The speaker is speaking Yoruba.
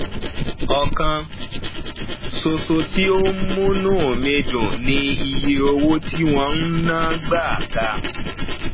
ọkan ṣoṣo tí ó múnú mi dùn ni iye owó tí wọn ń ná gbáa ga